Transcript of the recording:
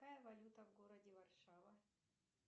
какая валюта в городе варшава